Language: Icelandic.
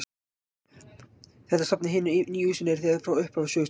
Þetta safn í hinu nýja húsi er þegar frá upphafi sögustaður.